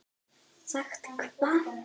Sagt hvað?